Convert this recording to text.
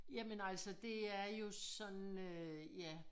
Jamen altså det er jo sådan øh ja